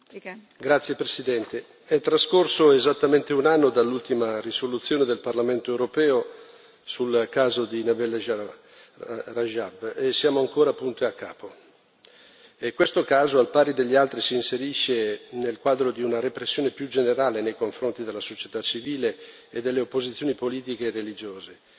Signora Presidente, onorevoli colleghi, è trascorso esattamente un anno dall'ultima risoluzione del Parlamento europeo sul caso di Nabeel Rajab e siamo ancora punto e a capo. Questo caso, al pari degli altri, si inserisce nel quadro di una repressione più generale nei confronti della società civile e delle opposizioni politiche e religiose